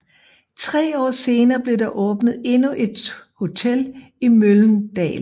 Tre år senere blev der åbnet endnu et hotel i Mölndal